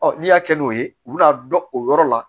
n'i y'a kɛ n'o ye u bɛna dɔ o yɔrɔ la